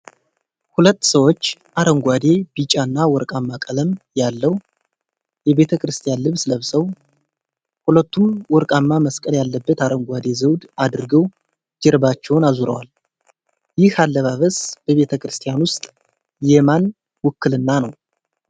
ሁለት ሰዎች አረንጓዴ፣ ቢጫ እና ወርቃማ ቀለም ያለው የቤተ ክርስቲያን ልብስ ለብሰዋል። ሁለቱም ወርቃማ መስቀል ያለበት አረንጓዴ ዘውድ አድርገው፣ ጀርባቸውን አዙረዋል። ይህ አለባበስ በቤተ ክርስቲያን ውስጥ የማን ውክልና ነው?